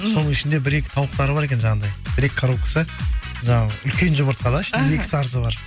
соның ішінде бір екі тауықтары бар екен жаңағындай бір екі коробкасы жаңағы үлкен жұмыртқа да ішінде екі сарысы бар